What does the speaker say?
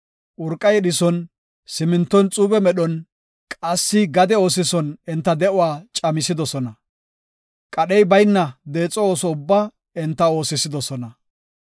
Urqa yedhison, siminton xuube medhon qassi gade oosison enta de7uwa camisidosona. Qadhey bayna deexo ooso ubbaa enta oosisidosona.